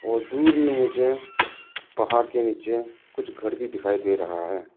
और दूर में मुझे पहाड़ के नीचे कुछ घर भी दिखाई दे रहा है।